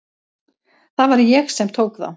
Það var ég sem tók þá.